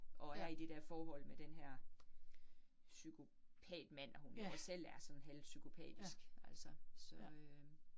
Og er i det der forhold med denne her pyskopatmand, og hun jo også selv er sådan halvpsykopatisk altså så øh